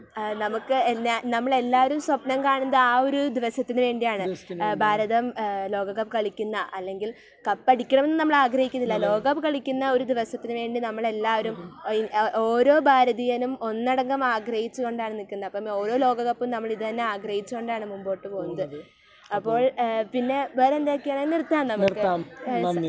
ഭാരതം ലോകകപ്പ് കളിക്കുന്ന അല്ലെങ്കിൽ കപ്പടിക്കണമെന്ന് നമ്മൾ ആഗ്രഹിക്കുന്നില്ല, ലോകകപ്പ് കളിക്കുന്ന ഒരു ദിവസത്തിനു വേണ്ടി നമ്മളെല്ലാവരും ഓരോ ഭാരതീയനും ഒന്നടങ്കം ആഗ്രഹിച്ചു കൊണ്ടാണ് നിക്കുന്നത്. അപ്പൊ ഓരോ ലോകകപ്പും നമ്മൾ ഇത് തന്നെ ആഗ്രഹിച്ചു കൊണ്ടാണ് മുൻപോട്ടു പോകുന്നത് . അപ്പോൾ , പിന്നെ വേറെന്തൊക്കെയാണ്? നിർത്താം നമുക്ക് ?